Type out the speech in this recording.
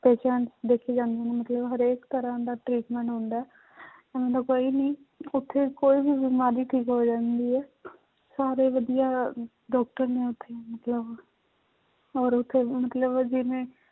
Patient ਦੇਖੇ ਜਾਂਦੇ ਨੇ ਮਤਲਬ ਹਰੇਕ ਤਰ੍ਹਾਂ ਦਾ treatment ਹੁੰਦਾ ਹੈ ਕੋਈ ਵੀ ਉੱਥੇ ਕੋਈ ਵੀ ਬਿਮਾਰੀ ਠੀਕ ਹੋ ਜਾਂਦੀ ਹੈ ਸਾਰੇ ਵਧੀਆ doctor ਨੇ ਉੱਥੇ ਮਤਲਬ ਔਰ ਉੱਥੇ ਮਤਲਬ ਜਿਵੇਂ